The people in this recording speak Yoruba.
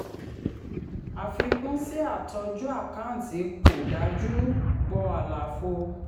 àfikún sí “àtọ́jú àkáǹtì kò dájú” pọ̀ àlàfo.